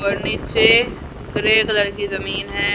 और नीचे हरे कलर की जमीन है।